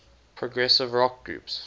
progressive rock groups